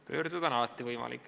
Pöörduda on alati võimalik.